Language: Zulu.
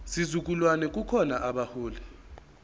sizukulwane kukhona abaholi